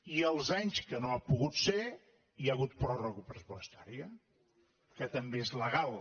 i els anys que no ha pogut ser hi ha hagut pròrroga pressupostària que també és legal